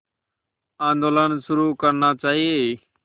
आंदोलन शुरू करना चाहिए